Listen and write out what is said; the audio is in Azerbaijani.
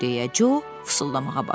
Deyə, Co fısıldamağa başladı.